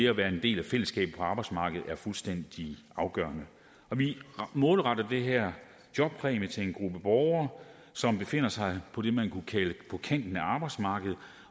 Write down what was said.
at være en del af fællesskabet på arbejdsmarkedet er fuldstændig afgørende vi målretter den her jobpræmie til en gruppe borgere som befinder sig på det man kunne kalde kanten af arbejdsmarkedet